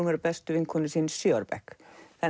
verið bestu vinkonur síðan í sjö ára bekk